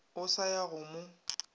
o sa ya go mo